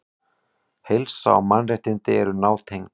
Heilsa og mannréttindi eru nátengd.